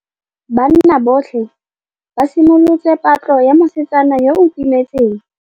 Banna botlhê ba simolotse patlô ya mosetsana yo o timetseng.